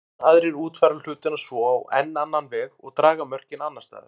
Enn aðrir útfæra hlutina svo á enn annan veg og draga mörkin annars staðar.